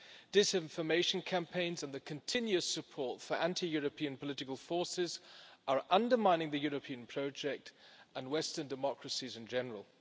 Disinformation campaigns and the continuous support for anti European political forces are undermining the European project and Western democracies in general.